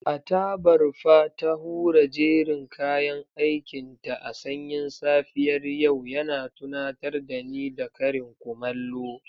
A tabarfa ta hura jerin kayan aikinta a sanyin safiyar yau, yana tunatar da ni da karin kumallo.